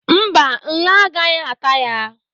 Mba, nla agaghị ata ya.